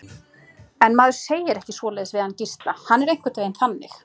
En maður segir ekki svoleiðis við hann Gísla, hann er einhvern veginn þannig.